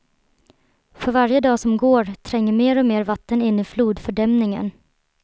För varje dag som går tränger mer och mer vatten in i flodfördämningen.